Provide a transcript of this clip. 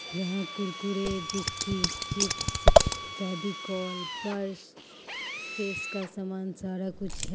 यहां Kurkure biscuit chips Fevicol purse face का सामान सारा कुछ है।